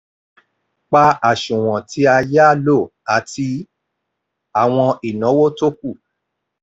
pa àsùnwọ̀n tí a yá lò àti àwọn ináwó tó ku.